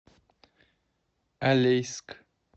алейск